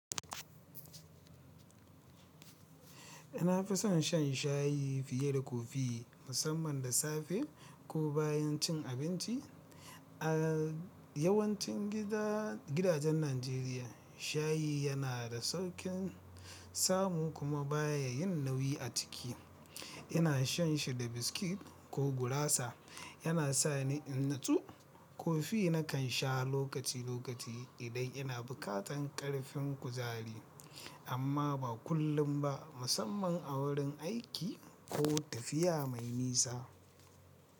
Na fison shan shayi fiye da kofi, musamman da safe ko bayan cin abinci. Yawancin gidajen Najeriya, shayi yana da sauƙin samu kuma baya yin nauyi a jiki. Ina shan shi da biskit ko gurasa, yana sa ni in natsu. Kofi nakan sha lokaci lokaci idan ina buƙatar ƙarfin kuzari, amma ba kullum ba, musamman a wurin aiki ko tafiya mai nisa.